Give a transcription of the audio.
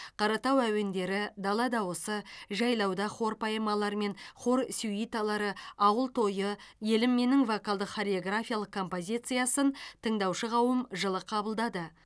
қаратау әуендері дала дауысы жайлауда хор поэмалары мен хор сюиталары ауыл тойы елім менің вокалдық хореографиялық композициясын тыңдаушы қауым жылы қабылдады